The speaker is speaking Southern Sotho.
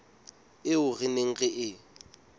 eo re neng re e